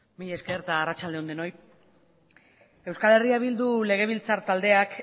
mila esker eta arratsalde on denoi euskal herria bildu legebiltzar taldeak